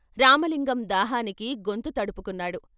రామలింగం దాహానికి గొంతు తడుపు కున్నాడు.